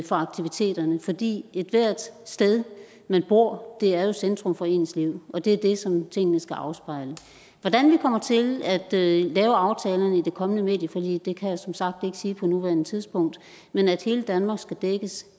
for aktiviteterne fordi ethvert sted man bor er centrum for ens liv og det er det som tingene skal afspejle hvordan vi kommer til at lave aftalerne i det kommende medieforlig kan jeg som sagt ikke sige på nuværende tidspunkt men at hele danmark skal dækkes